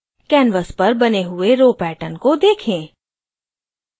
canvas पर बने हुए row pattern को देखें